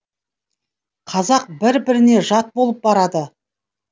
қазақ бір біріне жат болып барады